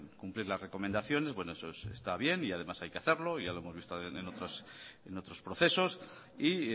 cumplir las recomendaciones bueno eso está bien y además hay que hacerlo ya lo hemos visto en otros procesos y